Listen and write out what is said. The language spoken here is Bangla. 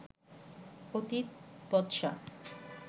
অতীত বচসা